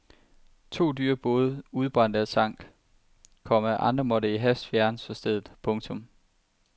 To dyre både udbrændte og sank, komma andre måtte i hast fjernes fra stedet. punktum